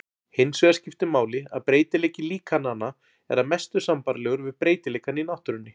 Hinsvegar skiptir máli að breytileiki líkananna er að mestu sambærilegur við breytileikann í náttúrunni.